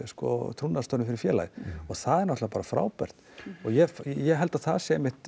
trúnaðarstörfum fyrir félagið og það er náttúrulega bara frábært ég ég held að það sé einmitt